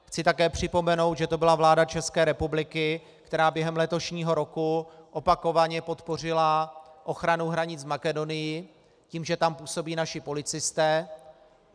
Chci také připomenout, že to byla vláda České republiky, která během letošního roku opakovaně podpořila ochranu hranic s Makedonií tím, že tam působí naši policisté.